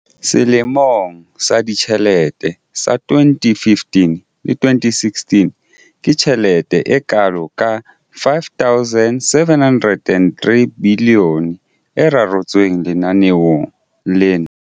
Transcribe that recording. Selemong sa ditjhelete sa 2015-16, ke tjhelete e kalo ka R5 703 bilione e reretsweng lenaneo lena.